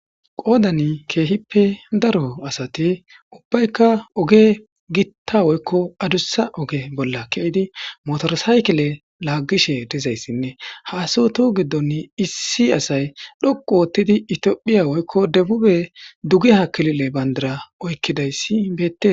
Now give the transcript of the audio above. Qoodan keehippe daro asati ubbaykka oge gitta woykko adussa oge bolla ke'idi motorsaykile laaggishe dizayssinne haasu tu giddonn issi asay dhoqu woottidi itiophiya woykko debube duge hakilile bandara oykkidayssi beette.